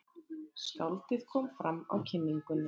Skáldið kom fram á kynningunni.